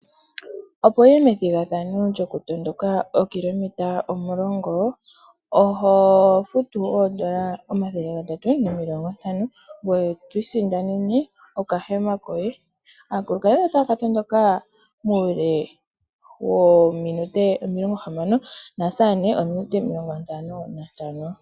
Opo wuye methigathano lyokutondoka ookilometa omulongo, oho futu oondola omathele gatatu nomilongo ntano, ngoye to isindanene okahema koye. Aakulukadhi otaya ka tondoka muule wethimbo lyominute omilongo hamano omanga aasamane minute omilongo ntano nantano.